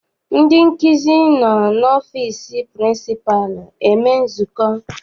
Ndị nkụzi nọ n'ọfịịsi pịrịnsịpalụ eme nzukọ.